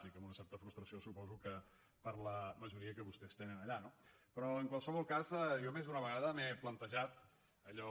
dic amb una certa frustració suposo que per la majoria que vostès tenen allà no però en qualsevol cas jo més d’una vegada m’he plantejat allò